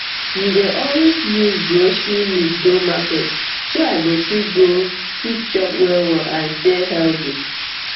you dey always use grocery list go market so i go fit go fit chop well well and stay healthy